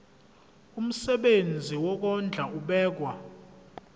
umsebenzi wokondla ubekwa